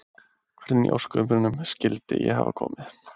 Hvernig í ósköpunum skyldi ég hafa komið